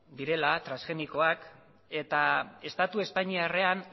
direla transgenikoak eta estatu espainiarrean